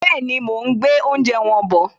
Bẹ́ẹ̀ni, mo ún gbé oúnjẹ wọn bọ̀